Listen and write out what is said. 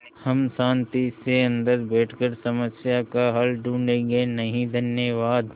हम शान्ति से अन्दर बैठकर समस्या का हल ढूँढ़े गे नहीं धन्यवाद